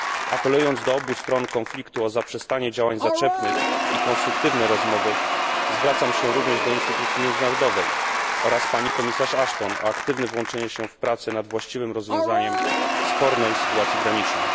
Apelując do obu stron konfliktu o zaprzestanie działań zaczepnych i konstruktywne rozmowy, zwracam się również do instytucji międzynarodowych oraz do pani wiceprzewodniczącej Ashton o aktywne włączenie się w prace nad właściwym rozwiązaniem spornej sytuacji granicznej.